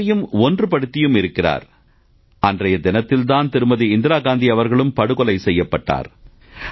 நாட்டின் துரதிர்ஷ்டம் என்பதா வேறு என்ன சொல்வது என்று தெரியவில்லை அன்றைய தினத்தில் தான் திருமதி இந்திரா காந்தி அவர்கள் படுகொலை செய்யப்பட்டார்